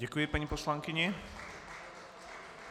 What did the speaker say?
Děkuji, paní poslankyně.